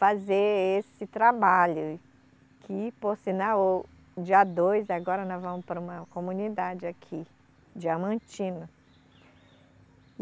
fazer esse trabalho que, por sinal, dia dois, agora nós vamos para uma comunidade aqui, Diamantino.